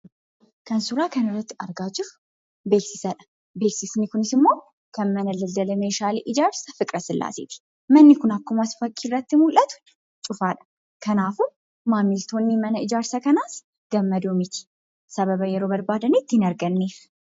Kan suuraa kanarratti argaa jirru beeksisadhaa. Kan mana meeshaalee ijaarsa Fiqrasillaaseetii. Manni kun akkuma fakkiirratti mul'atu cufaadhaa. Kanaafuu maamiltoonni mana kanaas gammadoo miti sababa yeroo barbaadanitti hin arganneef.